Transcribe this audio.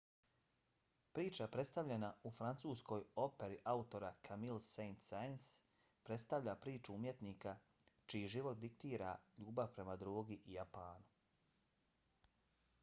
priča predstavljena u francuskoj operi autora camille saint-saens predstavlja priču umjetnika čiji život diktira ljubav prema drogi i japanu.